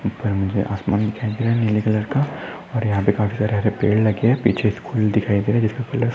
उपर मुझे आसमान दिखाई दे रहा है नीले कलर का और यहा पे काफी सारे हरे पेड़ लगे है पीछे स्कूल दिखाई दे रहा है जिसका कलर सफ़ेद है।